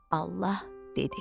Allah dedi: